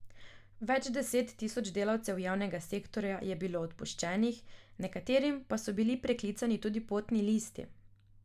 Več deset tisoč delavcev javnega sektorja je bilo odpuščenih, nekaterim pa so bili preklicani tudi potni listi.